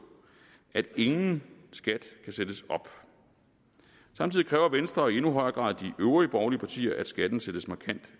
at ingen skat kan sættes op samtidig kræver venstre og i endnu højere grad de øvrige borgerlige partier at skatten sættes markant